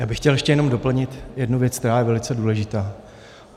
Já bych chtěl jenom ještě doplnit jednu věc, která je velice důležitá.